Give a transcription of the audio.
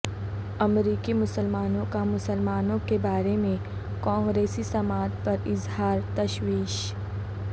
امریکی مسلمانوں کا مسلمانوں کے بارے میں کانگریسی سماعت پر اظہار تشویش